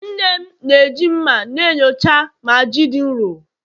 nne m na-eji mma na-enyocha ma ji dị nro